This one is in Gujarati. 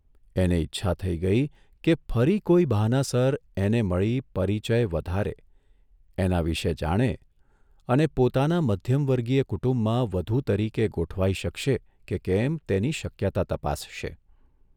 એને ઇચ્છા થઇ કે ફરી કોઇ બહાનાસર એને મળી પરિચય વધારે એના વિશે જાણે અને પોતાના મધ્યમવર્ગીય કુટુંબમાં વધુ તરીકે ગોઠવાઇ શકશે કે કેમ તેની શક્યતા તપાસશે.